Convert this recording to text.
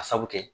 A sabu kɛ